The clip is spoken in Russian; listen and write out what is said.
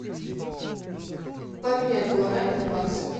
поменять гуарани на баксы